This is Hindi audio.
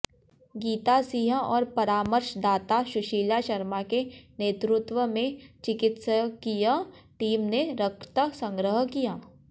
गीता सिंह और परामर्शदाता शुशीला शर्मा के नेतृत्व में चिकित्सकीय टीम ने रक्त संग्रह किया